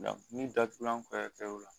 min datugulan kɛr'u la